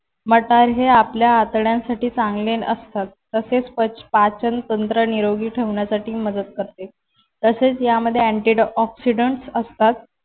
मटार हे आपल्या आतड्यांसाठी चांगले असतात. तसेच पाचन तंत्र निरोगी ठेवण्यासाठी मदत करते. तसेच यामध्ये antioxidants असतात.